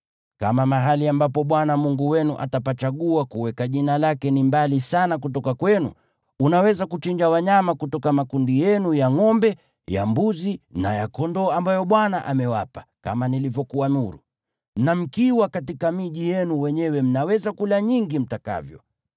Kama mahali ambapo Bwana Mungu wenu atapachagua kuweka Jina lake ni mbali sana kutoka kwenu, unaweza kuchinja wanyama kutoka makundi yenu ya ngʼombe, ya mbuzi na ya kondoo ambayo Bwana amewapa, kama nilivyokuamuru, na mkiwa katika miji yenu wenyewe mnaweza kula nyingi mtakavyo.